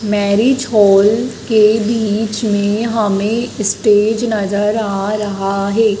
Marriage hall के बीच में हमें स्टेज पर नजर आ रहा है।